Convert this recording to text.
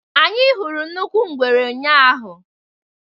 Anyị hụrụ nnukwu ngwere ụnyahụ.